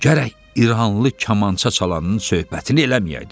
Gərək İrannı kamança çalanın söhbətini eləməyəydi.